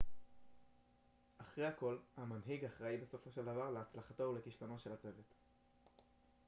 אחרי הכל המנהיג אחראי בסופו של דבר להצלחתו ולכשלונו של הצוות